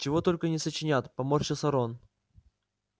чего только не сочинят поморщился рон